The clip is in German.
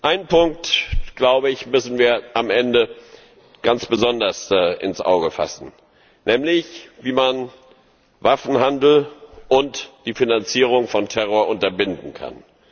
Einen Punkt müssen wir am Ende ganz besonders ins Auge fassen, nämlich wie man Waffenhandel und die Finanzierung von Terror unterbinden kann.